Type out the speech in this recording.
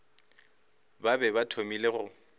ba be ba thomile go